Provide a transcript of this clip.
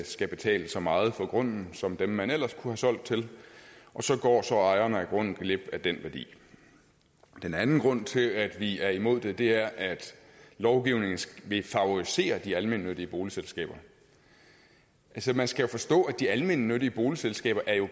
skal betale så meget for grunden som dem man ellers kunne have solgt til og så går ejeren af grunden glip af den værdi den anden grund til at vi er imod det er at lovgivningen vil favorisere de almennyttige boligselskaber altså man skal jo forstå at de almennyttige boligselskaber